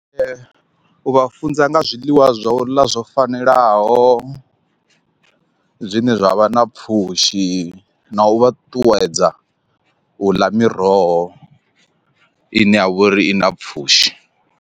U vha funza nga zwiḽiwa zwo ḽa zwo fanelaho zwine zwavha na pfhushi na u vha ṱuṱuwedza u ḽa miroho ine ya vhori i na pfhushi.